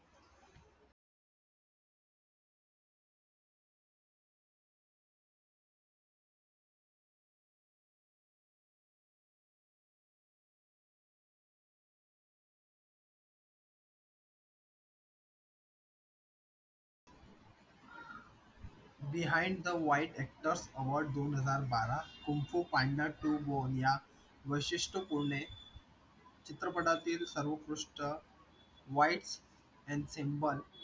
behind the white hector award दोन हजार बारा kung fu panda to bornia वैशिष्ट्यपूर्ण चित्रपटातील सर्व पृष्ठ white